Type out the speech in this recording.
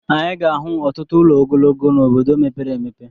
Anyị ga-ahụ ọtụtụ ụlọ ogologo n'obodo mepere emepe.